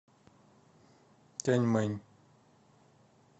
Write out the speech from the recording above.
тяньмэнь